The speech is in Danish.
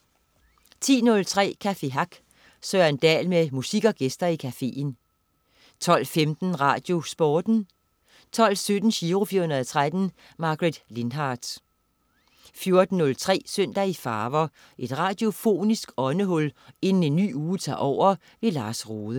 10.03 Café Hack. Søren Dahl med musik og gæster i cafeen 12.15 RadioSporten 12.17 Giro 413. Margaret Lindhardt 14.03 Søndag i farver. Et radiofonisk åndehul inden en ny uge tager over. Lars Rohde